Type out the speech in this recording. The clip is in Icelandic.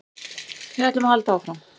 Við ætlum að halda áfram